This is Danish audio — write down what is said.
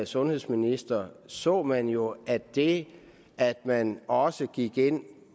sundhedsminister så man jo at det at man også gik ind